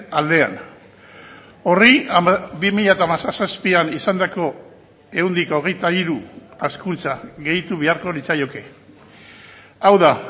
aldean horri bi mila hamazazpian izandako ehuneko hogeita hiru hazkuntza gehitu beharko litzaioke hau da